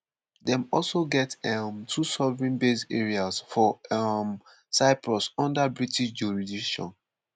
dem also get um two sovereign base areas for um cyprus under british jurisdiction.